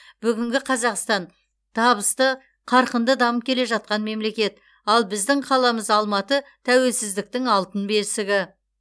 бүгінгі қазақстан табысты қарқынды дамып келе жатқан мемлекет ал біздің қаламыз алматы тәуелсіздіктің алтын бесігі